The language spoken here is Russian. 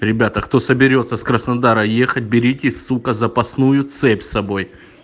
ребята кто соберётся с краснодара ехать берите сука запасную цепь с собой